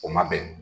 O ma bɛn